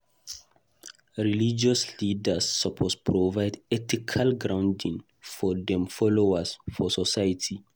Religious leaders suppose provide ethical grounding for dem followers for society.